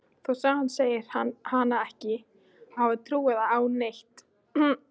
Þótt sagan segði hana ekki hafa trúað á neitt.